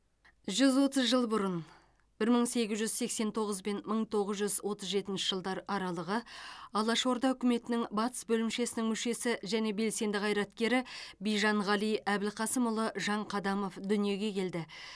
жүз отыз жыл бұрын бір мың сегіз жүз сексен тоғыз бен мың тоғыз жүз отыз жетінші жылдар аралығы алашорда үкіметінің батыс бөлімшесінің мүшесі және белсенді қайраткері бижанғали әбілқасымұлы жанқадамов дүниеге келді